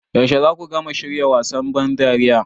Yaushe za ku gama shirya wasan ban dariya?